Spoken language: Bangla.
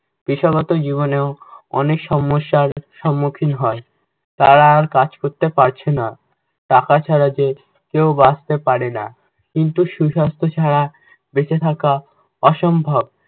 পেশাগত জীবনেও অনেক সমস্যার সম্মুখীন হয়। তারা আর কাজ করতে পারছে না। টাকা ছাড়া যে কেও বাঁচতে পারেনা, কিন্তু সুস্বাস্থ্য ছাড়া বেঁচে থাকা অসম্ভব।